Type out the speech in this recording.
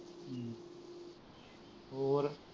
ਹੋਰ